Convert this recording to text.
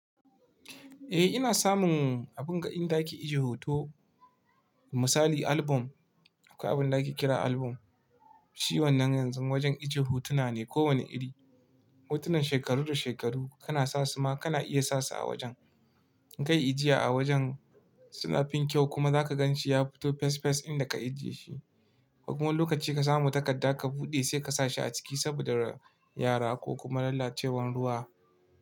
Eh ina samun abinga inda ake ije hoto. Misali album, akwai abinda ake kira album. Shi wannan yanzu wajen ije hotuna ne kowane iri. Hotunan shekaru da shekaru kana sasuma kana iya sasu a wajen. Kai ijiya a wajen suna fin kyau kuma zaka ganshi ya fito fes fes inda ka ajiye shi. Kuma lokaci ka samu takadda ka buɗe sai kasashi a ciki saboda yara ko kuma lalacewan ruwa.